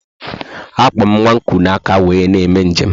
Akpo m nwa kuu na aka wee na eme njem a